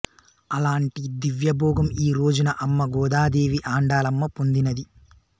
అలాంటి దివ్య భోగం ఈరోజున అమ్మ గోదాదేవి ఆండాళ్ళమ్మ పొందినది